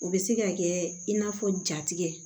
O bɛ se ka kɛ in n'a fɔ jatigɛ